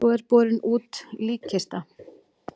Svo er borin út líkkista.